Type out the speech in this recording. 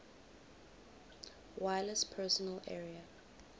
wireless personal area